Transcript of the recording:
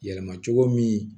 Yɛlɛma cogo min